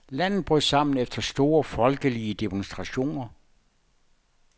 Landet brød sammen efter store folkelige demonstrationer.